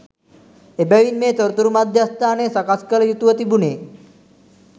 එබැවින් මේ තොරතුරු මධ්‍යස්ථානය සකස් කළ යුතු ව තිබුණේ